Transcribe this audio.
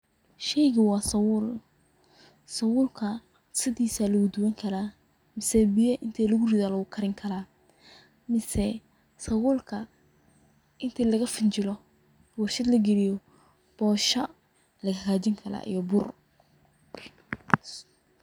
Sheygu wa sabul, sabulka sidisa aya luguduwani kara mise biyo inti lugurido aya lugukarini karaa mise sabulka intii lagafinjilo warshad lagaliyo aya bosha lagahagjini kara iyo bur.